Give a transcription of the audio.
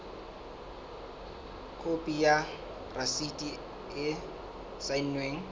khopi ya rasiti e saennweng